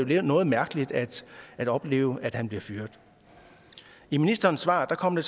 det jo noget mærkeligt at at opleve at han blev fyret i ministerens svar kom det